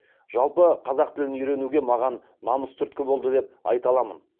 жалпы қазақ тілін үйренуге маған намыс түрткі болды деп айта аламын